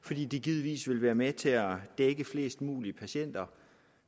fordi det givetvis ville være med til at dække flest mulige patienter